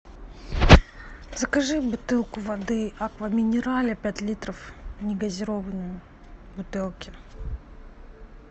закажи бутылку воды аква минерале пять литров негазированную в бутылке